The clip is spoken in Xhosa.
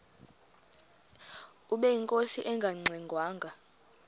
ubeyinkosi engangxe ngwanga